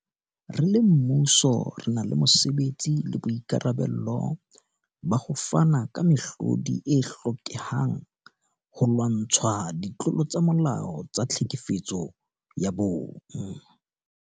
Re le mmuso, re na le mosebetsi le boikarabelo ba ho fana ka mehlodi e hlokehang holwantshwa ditlolo tsa molao tsa tlhekefetso ya bong.